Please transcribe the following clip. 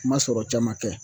Ma sɔrɔ caman kɛ